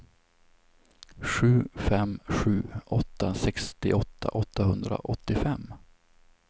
sju fem sju åtta sextioåtta åttahundraåttiofem